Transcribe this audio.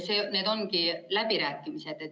Need ongi läbirääkimised.